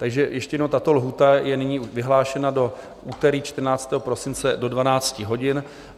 Takže ještě jednou, tato lhůta je nyní vyhlášena do úterý 14. prosince do 12 hodin.